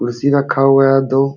कुर्सी रखा हुआ है दो --